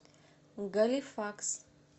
галифакс